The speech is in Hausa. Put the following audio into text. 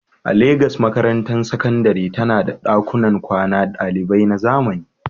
A Legas, makarantar sakandare tana da ɗakunan kwanan ɗalibai na zamani.